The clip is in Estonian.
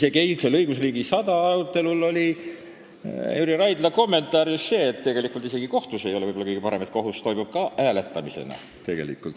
Eilsel "Õigusriik 100" tähistamisel oli Jüri Raidla ettekandes osutus, et tegelikult toimub isegi kohtus hääletamine, ehkki see ei ole võib-olla kõige parem lahendus.